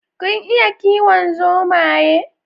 Kun iya kiwon zomaye?